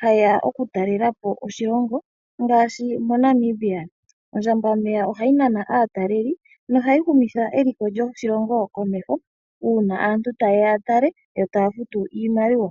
hayeya okutalelapo oshilongo ngaashi moNamibia. Ondjambameya ohayi nana aataleli nohayi humitha eliko lyoshilongo komeho, uuna aantu tayeya yatale yo taya futu iimaliwa.